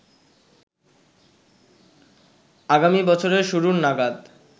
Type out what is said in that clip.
আগামী বছরের শুরু নাগাদ